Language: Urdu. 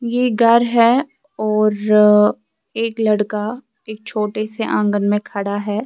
.یہ گھر ہیں اورآ ایک لڑکا ایک چھوٹے سے آنگن مے خدا ہیں